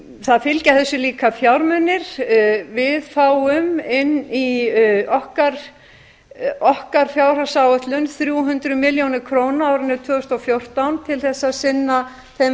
þessu fylgja líka fjármunir við fáum inn í okkar fjárhagsáætlun þrjú hundruð milljón krónur á árinu tvö þúsund og fjórtán til að sinna þeim